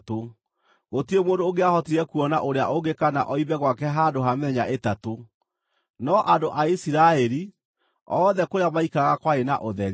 Gũtirĩ mũndũ ũngĩahotire kuona ũrĩa ũngĩ kana oime gwake handũ ha mĩthenya ĩtatũ. No andũ a Isiraeli, othe kũrĩa maikaraga kwarĩ na ũtheri.